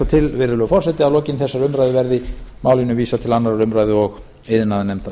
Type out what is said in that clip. til virðulegi forseti að lokinni þessari umræðu verði málinu vísað til annars um og iðnaðarnefndar